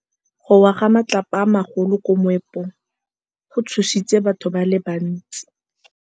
Go wa ga matlapa a magolo ko moepong go tshositse batho ba le bantsi.